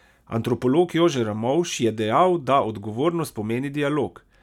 Antropolog Jože Ramovš je dejal, da odgovornost pomeni dialog.